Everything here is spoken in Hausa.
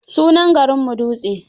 Sunan garinmu Dutse.